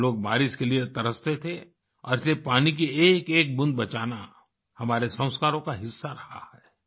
हम लोग बारिश के लिए तरसते थे और इसलिए पानी की एकएक बूँद बचाना हमारे संस्कारों का हिस्सा रहा है